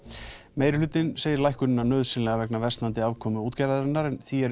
meirihlutinn segir lækkunina nauðsynlega vegna versnandi afkomu útgerðarinnar en því er